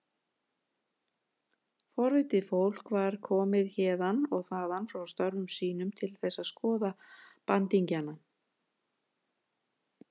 Forvitið fólk var komið héðan og þaðan frá störfum sínum til þess að skoða bandingjana.